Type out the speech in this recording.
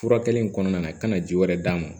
Furakɛli in kɔnɔna na ka na ji wɛrɛ d'a ma